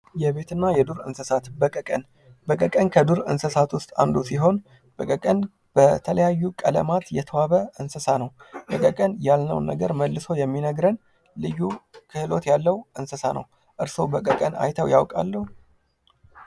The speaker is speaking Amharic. የቤት እና የዱር እንሣት በቀቀን በቀቀን ከዱር እንሣቶች ውስጥ አንዱ ሲሆን በቀቀን በተለያዩ ቀለማት የተዋበ እንሣ ነው። በቀቀን ያልነውን ነገር መልሶ የሚነግርን ልዩ ክህሎት ያለው እንስሣ ነው። እርሶ በቀቀን አይተው ያውቃሉ?